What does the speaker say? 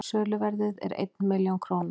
söluverðið er einn milljón króna